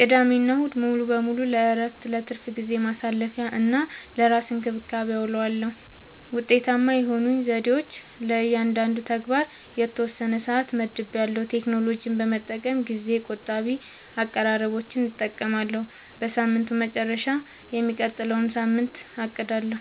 ቅዳሜና እሁድ ሙሉ በሙሉ ለእረፍት፣ ለትርፍ ጊዜ ማሳለፊ፣ እና ለራስ እንክብካቤ አዉለዋለሁ። ውጤታማ የሆኑኝ ዘዴዎች፦ · ለእያንዳንዱ ተግባር የተወሰነ ሰዓት መድቤያለሁ · ቴክኖሎጂን በመጠቀም ጊዜ ቆጣቢ አቀራረቦችን እጠቀማለሁ · በሳምንቱ መጨረሻ የሚቀጥለውን ሳምንት አቅዳለሁ